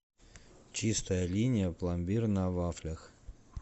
чистая линия пломбир на вафлях